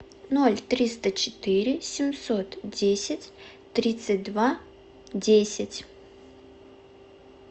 ноль триста четыре семьсот десять тридцать два десять